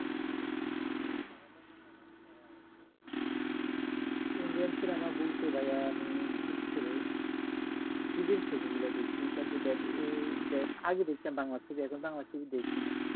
বলতে ভাইয়া আমি বিশেষ করে বিদেশ ছবি গুলা দেখি তারপর দেব এর দেব আগে দেখতাম বাংলা serial এখন আর বাংলা serial দেখিনা।